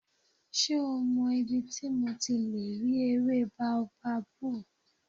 Ṣé o mọ ibi tí mo ti lè rí ewé bóábábù?